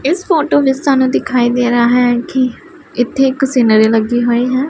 ਇੱਸ ਫੋਟੋ ਵਿੱਚ ਸਾਨੂੰ ਦਿਖਾਈ ਦੇ ਰਿਹਾ ਹੈ ਕਿ ਇੱਥੇ ਇੱਕ ਸੀਨਰੀ ਲੱਗੀ ਹੋਈ ਹੈ।